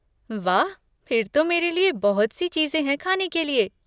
वाह, फिर तो मेरे लिये बहुत सी चीज़ें है खाने के लिये।